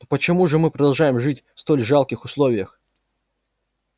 но почему же мы продолжаем жить в столь жалких условиях